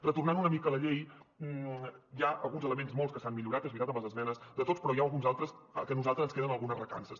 retornant una mica a la llei hi ha alguns elements molts que s’han millorat és veritat amb les esmenes de tots però n’hi ha alguns altres que a nosaltres ens queden algunes recances